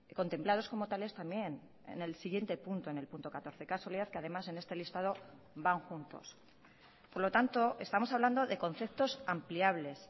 contemplados como tales también en el siguiente punto en el punto catorce casualidad que además en este listado van juntos por lo tanto estamos hablando de conceptos ampliables